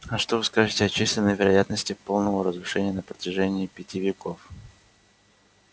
а что вы скажете о численной вероятности полного разрушения на протяжении пяти веков